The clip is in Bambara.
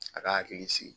A ka hakili sigi